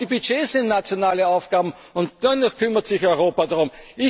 Aufgabe. Auch die Budgets sind nationale Aufgaben, und dennoch kümmert sich